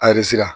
Aresira